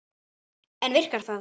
En virkar það?